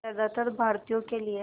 ज़्यादातर भारतीयों के लिए